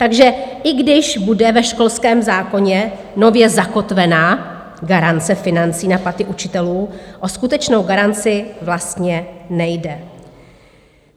Takže i když bude ve školském zákoně nově zakotvena garance financí na platy učitelů, o skutečnou garanci vlastně nejde.